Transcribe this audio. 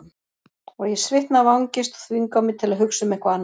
Og ég svitna af angist og þvinga mig til að hugsa um eitthvað annað.